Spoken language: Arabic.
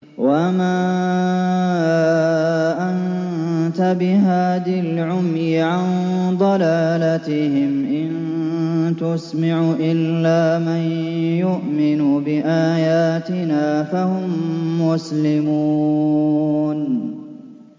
وَمَا أَنتَ بِهَادِي الْعُمْيِ عَن ضَلَالَتِهِمْ ۖ إِن تُسْمِعُ إِلَّا مَن يُؤْمِنُ بِآيَاتِنَا فَهُم مُّسْلِمُونَ